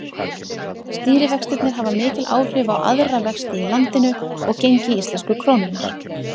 Stýrivextirnir hafa mikil áhrif á aðra vexti í landinu og gengi íslensku krónunnar.